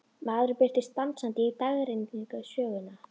Maðurinn birtist dansandi í dagrenningu sögunnar.